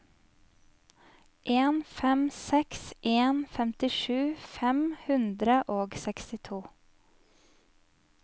en fem seks en femtisju fem hundre og sekstito